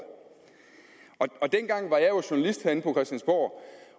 dengang var jeg jo journalist herinde på christiansborg